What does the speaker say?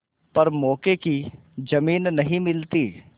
पर मौके की जमीन नहीं मिलती